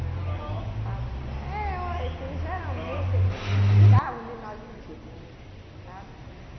Não, nós empa, eh, olha é que geralmente eles tiravam de nós o título, sabe?